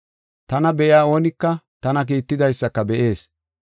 Tana be7iya oonika tana kiittidaysaka be7ees.